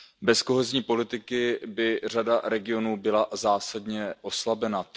Bez kohezní politiky by řada regionů byla zásadně oslabena.